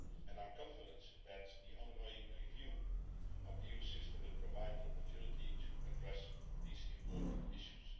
I am confident that the ongoing review of the EU system will provide an opportunity to address these important issues.